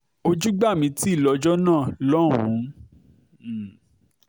ojú gbà mí tì lọ́jọ́ náà lọ́hùn-ún